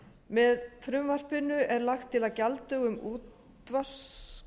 með frumvarpinu er lagt til að gjalddögum útvarpsgjalds